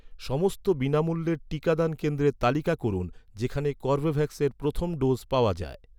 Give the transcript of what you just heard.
সমস্ত বিনামূল্যের টিকাদান কেন্দ্রের তালিকা করুন, যেখানে কর্বেভ্যাক্সের প্রথম ডোজ় পাওয়া যায়